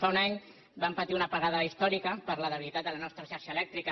fa un any vam patir una apagada històrica per la debilitat de la nostra xarxa elèctrica